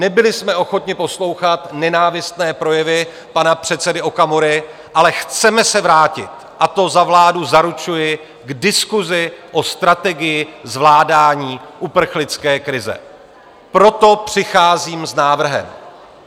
Nebyli jsme ochotni poslouchat nenávistné projevy pana předsedy Okamury, ale chceme se vrátit, a to za vládu zaručuji, k diskusi o strategii zvládání uprchlické krize, proto přicházím s návrhem.